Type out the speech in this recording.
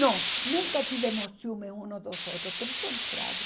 Não, nunca tivemos ciúmes uns dos outros, pelo contrário.